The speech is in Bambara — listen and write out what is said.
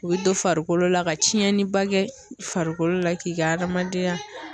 U bɛ don farikolo la ka tiɲɛni ba kɛ farikolo la k'i k'adamadenya